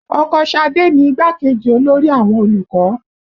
Ọkọ Ṣadé ni igbákejì olórí àwọn olùkọ́